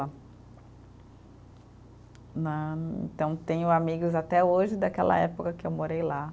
Né, então, tenho amigos até hoje daquela época que eu morei lá.